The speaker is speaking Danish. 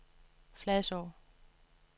Fladså